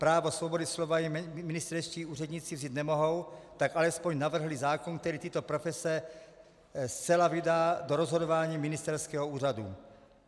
Právo svobody slova jim ministerští úředníci vzít nemohou, tak alespoň navrhli zákon, který tyto profese zcela vydá do rozhodování ministerského úřadu.